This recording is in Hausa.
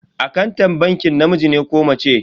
Akantan bankin namiji ne ko mace?